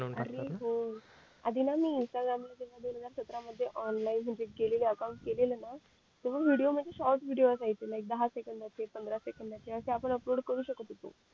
टाकतात ना अरे हो आधी ना मी इंस्टाग्राम मध्ये ना दोन हजार सत्रा मध्ये ना ऑनलाईन गेलेली अकाउंट केलेलं मग तेव्हा विडिओ म्हणजे शॉर्ट व्हिडिओस असायचे लाईक दहा सेकंदाचे पंधरा सेकंदाचे असे आपण अपलोड करू शकत होतो